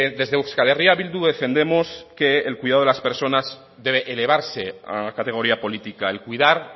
desde euskal herria bildu defendemos que el cuidado de las personas debe elevarse a categoría política el cuidar